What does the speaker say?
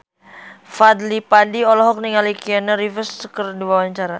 Fadly Padi olohok ningali Keanu Reeves keur diwawancara